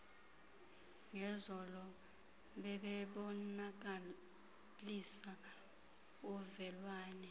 ngezolo bebebonakalisa uvelwane